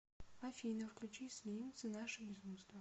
афина включи слимз наше безумство